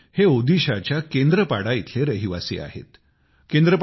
बिजय हे ओदिशाच्या केंद्रपाड़ा इथले रहिवासी आहेत